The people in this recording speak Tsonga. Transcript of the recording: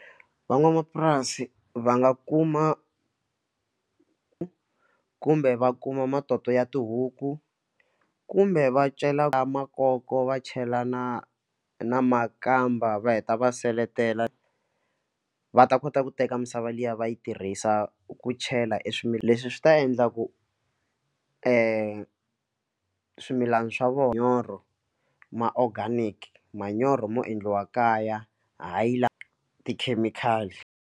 Van'wamapurasi va nga kuma kumbe va kuma matoto ya tihuku kumbe va cela makoko va chela na na makamba va heta va seletela va ta kota ku teka misava liya va yi tirhisa ku chela eswimila leswi swi ta endla ku swimilana swa vona manyoro ma organic manyoro yo endliwa kaya hayi la tikhemikhali.